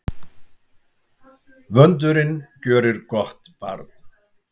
Vöndurinn gjörir gott barn.